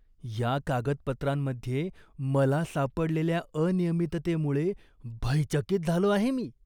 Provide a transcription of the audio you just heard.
या कागदपत्रांमध्ये मला सापडलेल्या अनियमिततेमुळे भयचकित झालो आहे मी.